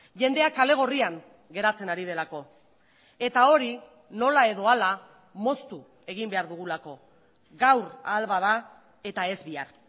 jendeak kale gorrian geratzen ari delako eta hori nola edo hala moztu egin behar dugulako gaur ahal bada eta ez bihar